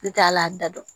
N t'a la a da dɔn